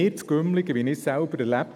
Ich habe es selber erlebt: